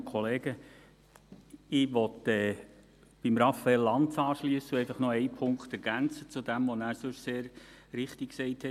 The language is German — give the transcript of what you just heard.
Ich möchte bei Raphael Lanz anknüpfen und einen Punkt ergänzen zu dem, was er sehr richtig gesagt hat.